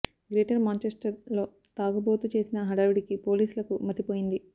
greater Manchester లో తాగుబోతు చేసిన హడావుడికి పోలీసులకు మతి పోయింది